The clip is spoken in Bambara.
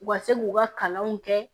U ka se k'u ka kalanw kɛ